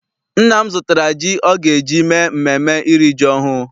Nna m zụtara ji ọ ga eji mee mmemme iri ji ọhụụ.